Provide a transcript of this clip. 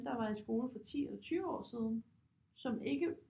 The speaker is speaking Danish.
Der var i skole for 10 eller 20 år siden som ikke